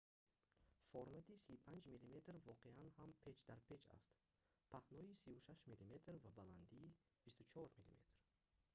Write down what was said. формати 35мм воқеан ҳам печдарпеч аст паҳнои 36мм ва баландии 24мм